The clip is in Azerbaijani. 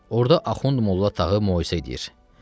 Orda Axund Molla Tağı möizə edir.